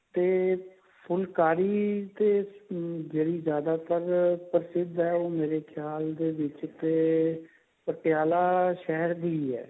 ਤੇ ਫੁਲਕਾਰੀ ਚ ਜਿਹੜੀ ਜਿਆਦਾਤਰ ਪ੍ਰਸਿਧ ਹੈ ਉਹ ਮੇਰੇ ਖਿਆਲ ਦੇ ਵਿੱਚ ਕੇ ਪਟਿਆਲਾ ਸ਼ਹਿਰ ਦੀ ਹੈ